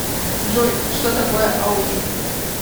джой что такое аудит